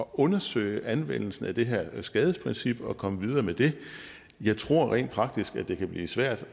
undersøge anvendelsen af det her skadesprincip og komme videre med det jeg tror rent faktisk at det kan blive svært